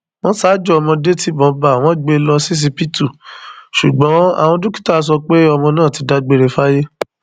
wọn ṣaájò ọmọdé tibọn bá wọn gbé e lọ ṣíṣíbítú ṣùgbọn àwọn dókítà sọ pé ọmọ náà ti dágbére fáyé